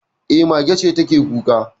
E, mage ce take kuka